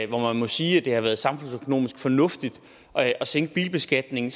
hvor man må sige at det har været samfundsøkonomisk fornuftigt at sænke bilbeskatningen